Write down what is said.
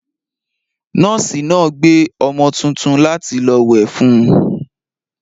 Nọ́ọ́sì náà gbé ọmọ tuntun láti lọ wẹ̀ fún un.